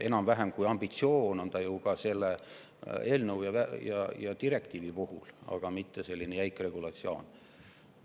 Enam-vähem ambitsioon on ta ju ka selles eelnõus ja direktiivis, mitte selline jäik regulatsioon.